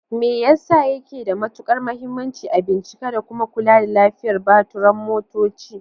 Me yasa yake da matukar muhimmanci a bincika da kuma kula da lafiyar baturan motoci?